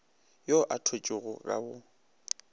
yo a thwetšwego ka go